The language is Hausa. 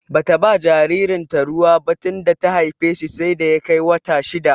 Bata ba jaririn ta ruwa bah tunda ta haife shi sai da ya kai wata shidda